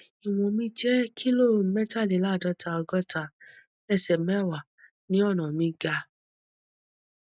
iwọn mi jẹ kilo mẹtàléláàádọta ọgọta ẹsẹ mẹwàá ni ọnà mi ga